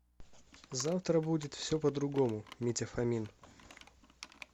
завтра будет все по другому митя фомин